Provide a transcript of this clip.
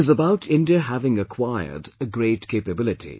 It is about India having acquired a great capability